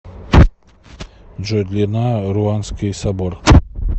джой длина руанский собор